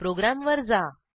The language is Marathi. प्रोग्रॅमवर जा